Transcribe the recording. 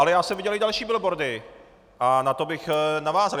Ale já jsem viděl i další billboardy a na to bych navázal.